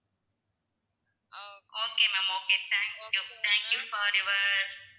ah okay ma'am okay thank you thank you for your